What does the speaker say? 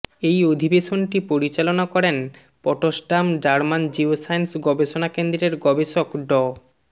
এই অধিবেশনটি পরিচালনা করেন পটসডাম জার্মান জিওসায়েন্স গবেষণাকেন্দ্রের গবেষক ড